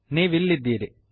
ನೀವಿಲ್ಲಿದ್ದೀರಿ